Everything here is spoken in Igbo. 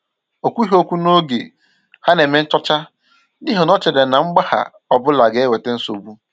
O kwughi okwu n’oge ha na-eme nchọ̀chá, n’ihi na ọ chèrè na mgbagha ọbụla gà-ewètà nsogbu